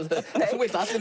þú vilt að allir